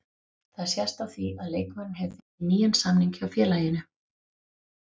Það sést á því að leikmaðurinn hefur fengið nýjan samning hjá félaginu.